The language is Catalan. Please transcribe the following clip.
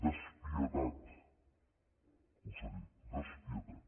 despietat conseller despietat